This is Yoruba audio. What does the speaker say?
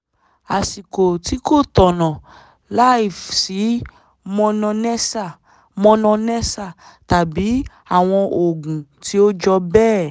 àsìkò tí kò tọ̀nà láìsí mononessa mononessa tàbí àwọn oògùn tí ó jọ bẹ́ẹ̀